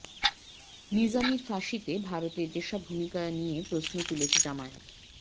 নিজামীর ফাঁসিতে ভারতের যেসব ভূমিকা নিয়ে প্রশ্ন তুলছে জামায়াত